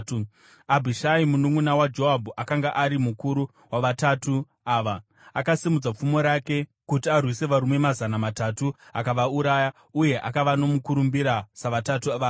Abhishai mununʼuna waJoabhu akanga ari mukuru waVatatu Ava. Akasimudza pfumo rake kuti arwise varume mazana matatu, akavauraya, uye akava nomukurumbira saVatatu Vaya.